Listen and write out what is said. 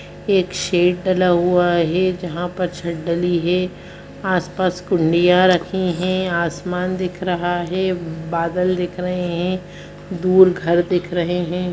एक शेड डाला हुआ है जहाँ पर छत डली हुई है आस-पास रखी है आसमान दिख रहा है बादल दिख रहे हैं दूर घर दिख रहे है।